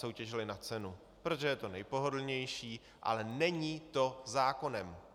Soutěžili na cenu, protože je to nejpohodlnější, ale není to zákonem.